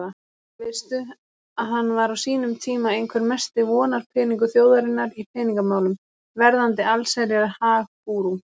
Veistu að hann var á sínum tíma einhver mesti vonarpeningur þjóðarinnar í peningamálum, verðandi allsherjar-hag-gúrú.